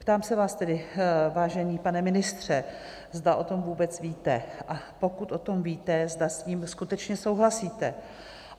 Ptám se vás tedy, vážený pane ministře, zda o tom vůbec víte, a pokud o tom víte, zda s tím skutečně souhlasíte?